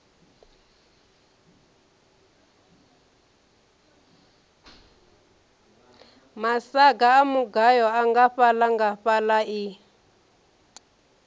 masaga a mugayo nngafhaḽangafhaḽa i